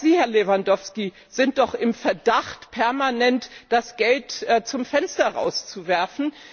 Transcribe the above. Auch Sie, Herr Lewandowski, sind doch im Verdacht, permanent das Geld zum Fenster rauszuwerfen.